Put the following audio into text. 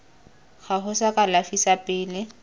gago sa kalafi sa pele